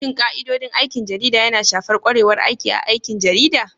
Shin ka'idodin aikin jarida yana shafar ƙwarewar aiki A aikin jarida?